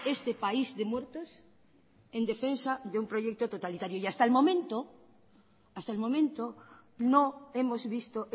este país de muertos en defensa de un proyecto totalitario y hasta el momento no hemos visto